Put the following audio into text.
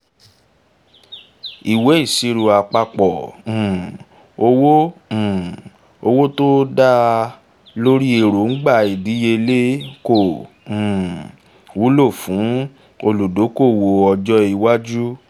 ìwé ìṣirò àpapọ̀ um owó um owó tó dá lórí 'èróńgbà ìdíyelé' kò um wúlò fún olùdókòwò ọjọ́ iwájú